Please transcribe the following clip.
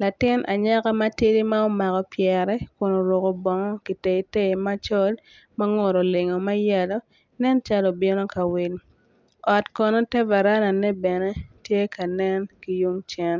latin anyaka matidi ma omako pyere kun oruko bongo kitei tei macol mangute olingo mayellow nen calo obino kawil ot kono ter varanda ne bene tye ka nen kiyung cen.